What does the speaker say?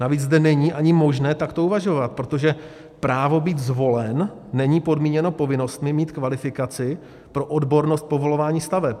Navíc zde není ani možné takto uvažovat, protože právo být zvolen není podmíněno povinnostmi mít kvalifikaci pro odbornost povolování staveb.